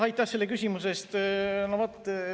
Aitäh selle küsimuse eest!